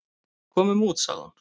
"""Komum út, sagði hún."""